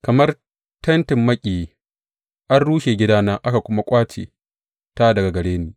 Kamar tentin makiyayi an rushe gidana aka kuma ƙwace ta daga gare ni.